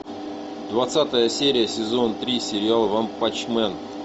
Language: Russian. двадцатая серия сезон три сериал ванпанчмен